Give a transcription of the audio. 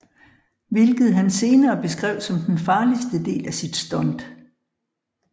Hvilket han senere beskrev som den farligste del af sit stunt